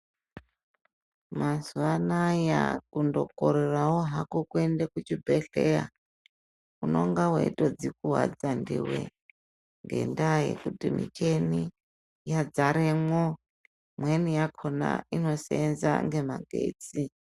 Mazuva anaya kundokorerawo hako kuende kuchibhedhleya unenge weitodzikuwadza ndiwe ngendaa yekuti mishini yadzaremwo imweni yakona inoseenza ngemagetsi.